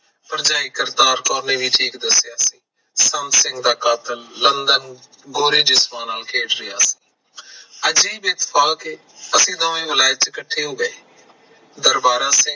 ਭਰਜਾਈ ਕਰਤਾਰ ਕੌਰ ਨੇ ਵੀ ਠੀਕ ਦੱਸਿਆ ਸੰਤ ਸਿੰਘ ਦਾ ਕਾਤਲ ਲੰਦਨ ਗੋਰੇ ਜਿਸਮਾਂ ਨਾਲ ਖੇਡ ਰਿਹਾ ਸੀ ਅਸੀੰ ਦੋਵੇਂ ਵਲੈਤ ਚ ਇਕੱਠੇ ਹੋ ਗੇ ਦਰਵਾਰਾ ਸਿੰਘ